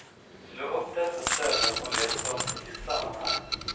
Slå upp dessa ställen och läs dem i sitt sammanhang.